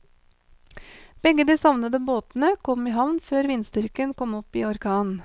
Begge de savnede båtene kom i havn før vindstyrken kom opp i orkan.